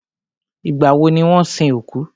Ìgbà wọ ni wọ́n sin òkú?